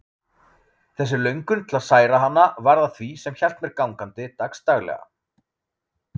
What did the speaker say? Þessi löngun til að særa hana varð að því sem hélt mér gangandi dagsdaglega.